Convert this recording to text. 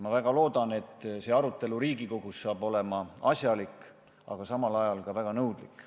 Ma väga loodan, et see arutelu siin Riigikogus saab olema asjalik, aga samal ajal ka väga nõudlik.